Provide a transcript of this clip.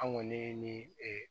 An kɔni ni ee